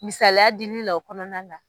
Misaliya dilila o kɔnɔna la.